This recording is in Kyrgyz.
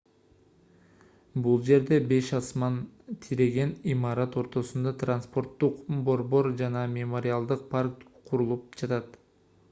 бул жерде беш асман тиреген имарат ортосунда транспорттук борбор жана мемориалдык парк курулуп жатат